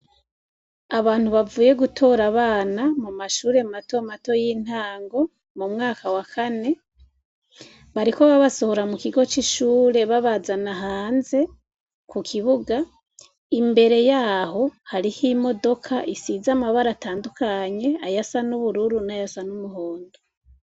Abantu bavuye gutora abana mu mashure matomato y'intango mu mwaka wa kane, bariko babasohora mu kigo c'ishure babazana hanze ku kibuga. Imbere yaho, hariho imodoka isize amabara atandukanye: ayasa n'ubururu n'ayasa n'umuhondo.